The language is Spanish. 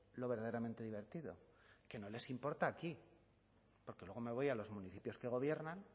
lo verdaderamente divertido que no les importa aquí porque luego me voy a los municipios que gobiernan